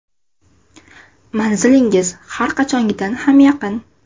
Manzilingiz har qachongidan ham yaqin .